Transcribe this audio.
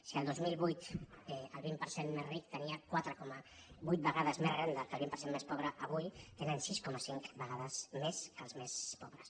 si el dos mil vuit el vint per cent més ric tenia quatre coma vuit vegades més renda que el vint per cent més pobre avui tenen sis coma cinc vegades més que els més pobres